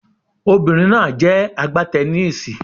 Obìnrin náà jẹ́ a gbá teniísì.